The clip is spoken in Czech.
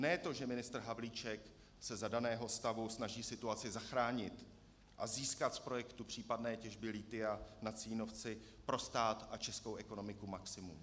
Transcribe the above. Ne to, že ministr Havlíček se za daného stavu snaží situaci zachránit a získat z projektu případné těžby lithia na Cínovci pro stát a českou ekonomiku maximum.